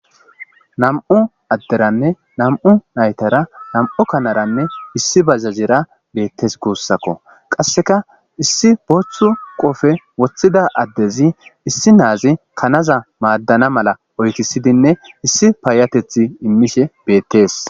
nam'u adderanne nam'u naytara nam'u kanaranne issi bajajjera beettees gussakko qassekka issi booththu qofe woththida addezi issi naazi kanaza maddana mala oykisiidinne issi payatethi imiishshe beettees